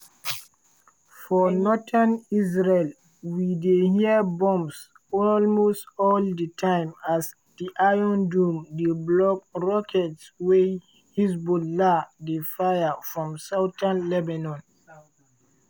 for northern israel we dey hear booms almost all di time as di iron dome dey block rockets wey hezbollah dey fire from southern lebanon.